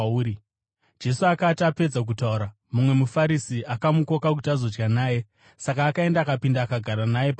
Jesu akati apedza kutaura, mumwe muFarisi akamukoka kuti azodya naye; saka akaenda, akapinda akagara naye pakudya.